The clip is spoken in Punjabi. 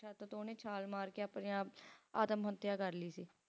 ਛੱਤ ਤੋਂ ਉਹਨੇ ਛਾਲ ਮਾਰਕੇ ਆਪਣੇ ਆਪ ਆਤਮ ਹੱਤਿਆ ਕਰ ਲਈ ਸੀ